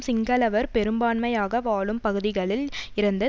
சிங்களவர் பெரும்பான்மையாக வாழும் பகுதிகளில் இருந்து